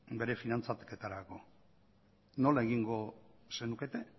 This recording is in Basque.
bere finantzaketarako nola egingo zenukete